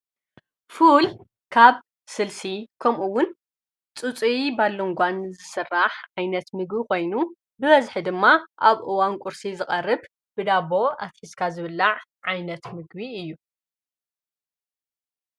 ፉል ካብ ስልሲ ከምኡውን ፁፁይ ባሎንጓን ዝስራሕ ዓይነት ምግቢ ኾይኑ ብበዝሒ ድማ ኣብ እዋን ቊርሲ ዝቐርብ ብዳቦ ኣፊሲስካ ዝብላዕ ዓይነት ምግቢ እዩ፡፡